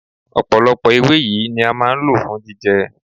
Ọ̀pọ̀lọpọ̀ ewé yìí ni a máa ń lò fún jíjẹ.